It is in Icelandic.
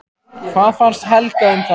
Hvað fannst Helga um þann dóm?